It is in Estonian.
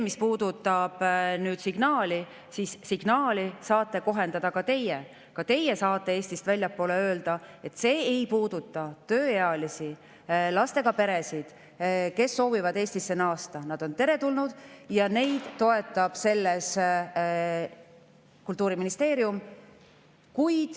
Mis puudutab signaali, siis signaali saate kohendada ka teie, ka teie saate Eestist väljapoole öelda, et see ei puuduta tööealisi, lastega peresid, kes soovivad Eestisse naasta, nad on teretulnud ja neid toetab selles Kultuuriministeerium.